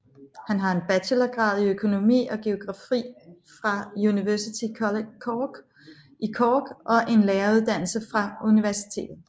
Han har en bachelorgrad i økonomi og geografi fra University College Cork i Cork og en læreruddannelse fra universitet